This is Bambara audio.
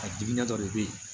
A diinɛ dɔ de bɛ yen